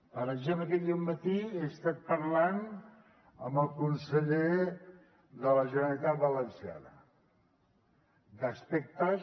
per exemple aquest dematí he estat parlant amb el conseller de la generalitat valenciana d’aspectes